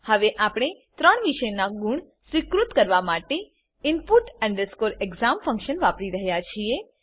હવે આપણે ત્રણ વિષયનાં ગુણ સ્વીકૃત કરવા માટે input exam ફંક્શન વાપરી રહ્યા છીએ